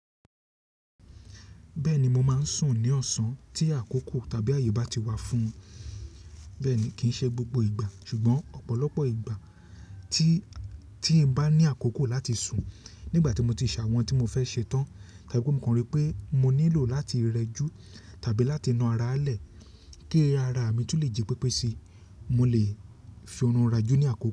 Bẹ́ẹ̀ ni, mo máa ń sùn ní ọ̀sán tí àkókò tàbí àyè bá ti wà fún ùn. Bẹ́ẹ̀ ni, kì í ṣe gbogbo ìgbà ṣùgbọ́n ọ̀pọ̀lọpọ̀ ìgbà tí, tí n bá ní àkókò láti sùn nígbà tí mo ti ṣàwọn tí mo fẹ́ ṣe tán tàbí mo mọ̀ pé mo nílò láti rẹjú tàbí láti na ara lẹ̀ kí ara mi tún lè jí pépé si, mo lè fi ọ̀run rajú ní àkókò.